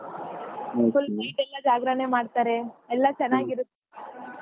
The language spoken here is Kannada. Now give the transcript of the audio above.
Full night ಎಲ್ಲ ಜಾಗ್ರಣೆ ಮಾಡ್ತಾರೆ ಎಲ್ಲಾ ಚನಾಗಿರತ್ತೆ.